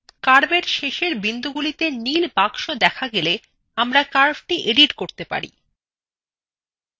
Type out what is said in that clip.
curvewhen শেষের বিন্দুগুলিতে নীল বাক্স দেখা গেলে আমরা curvethe edit করতে পারি